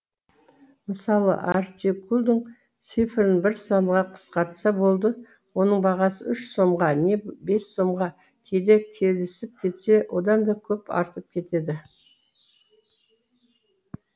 мысалы артикульдің цифрын бір санға қысқартса болды оның бағасы үш сомға не бес сомға кейде келісіп кетсе одан да көп артып кетеді